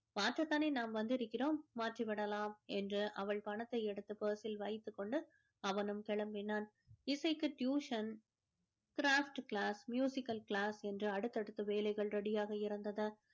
மாற்றத்தானே நாம் வந்திருக்கிறோம் மாற்றி விடலாம் என்று அவள் பணத்தை எடுத்து purse சில் வைத்து கொண்டு அவனும் கிளம்பினான் இசைக்கு tuition craft class musical class என்று அடுத்தடுத்து வேலைகள் ready யாக இருந்தது